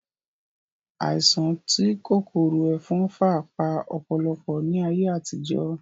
Àìsàn tí kòkòrò ẹ̀fọn fà pa ọ̀pọ̀lọpọ̀ ní ayé àtijó